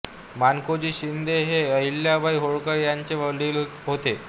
माणकोजी शिंदे हे अहिल्याबाई होळकर यांचे वडील होते